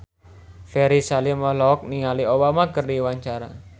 Ferry Salim olohok ningali Obama keur diwawancara